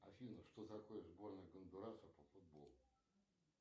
афина что такое сборная гондураса по футболу